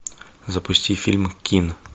запусти фильм кин